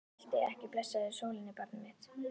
Formæltu ekki blessaðri sólinni, barnið mitt.